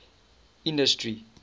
industry